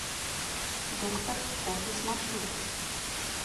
доктор офис маршрут